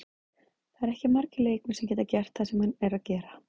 Það eru ekki margir leikmenn sem geta gert það sem hann er að gera.